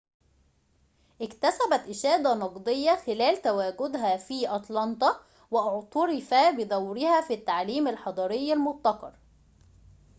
اكتسبت إشادة نقدية خلال تواجدها في أتلانتا واعتُرف بدورها في التعليم الحضري المبتكر